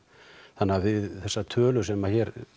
þannig að þessar tölur sem